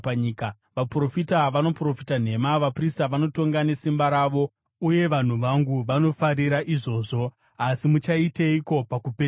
Vaprofita vanoprofita nhema, vaprista vanotonga nesimba ravo uye vanhu vangu vanofarira izvozvo. Asi muchaiteiko pakupedzisira?